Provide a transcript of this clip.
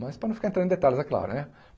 Mas para não ficar entrando em detalhes, é claro né.